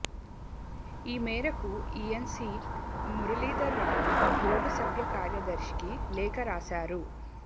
ఈ మేరకు ENC Muralidhar Rao board సభ్య కార్యదర్శికి లేఖ రాశారు